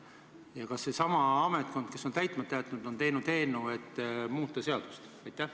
Ja kas seesama ametkond, kes on täitmata jätnud, on teinud eelnõu, et muuta seadust?